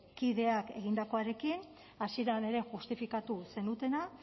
kideak egindakoarekin hasieran ere justifikatu zenutena